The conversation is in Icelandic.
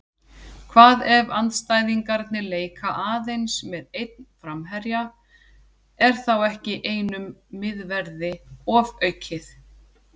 Hvað ef andstæðingarnir leika aðeins með einn framherja, er þá ekki einum miðverði ofaukið?